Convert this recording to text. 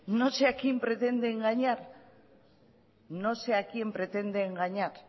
no sé a quién pretende engañar no sé a quién pretende engañar